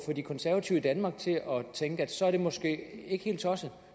de konservative i danmark til at tænke at så er det måske ikke helt tosset